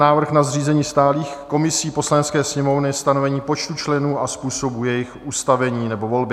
Návrh na zřízení stálých komisí Poslanecké sněmovny, stanovení počtu členů a způsobu jejich ustavení nebo volby